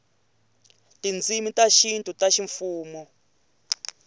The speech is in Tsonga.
tindzimi ta xintu ta ximfumo